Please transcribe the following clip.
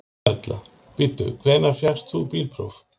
Erla: Bíddu, hvenær fékkst þú bílpróf?